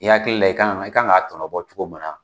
I hakili la i kan ka i kan ka a tɔnɔbɔ cogo min na